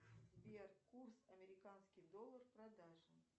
сбер курс американский доллар продажа